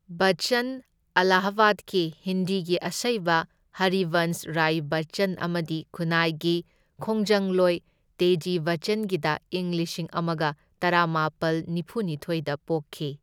ꯕꯆꯆꯟ ꯑꯂꯥꯍꯥꯕꯥꯗꯀꯤ ꯍꯤꯟꯗꯤꯒꯤ ꯑꯁꯩꯕ ꯍꯔꯤꯕꯟꯁ ꯔꯥꯏ ꯕꯆꯆꯟ ꯑꯃꯗꯤ ꯈꯨꯟꯅꯥꯏꯒꯤ ꯈꯣꯡꯖꯪꯂꯣꯏ ꯇꯦꯖꯤ ꯕꯆꯆꯟꯒꯤꯗ ꯏꯪ ꯂꯤꯁꯤꯡ ꯑꯃꯒ ꯇꯔꯥꯃꯥꯄꯜ ꯅꯤꯐꯨꯅꯤꯊꯣꯢꯗ ꯄꯣꯛꯈꯤ꯫